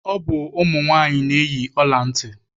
Ọ bụ ụmụ nwaanyị na-eyi ọla ntị.